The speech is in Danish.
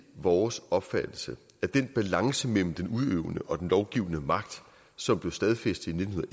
vores opfattelse at den balance mellem den udøvende og den lovgivende magt som blev stadfæstet i nitten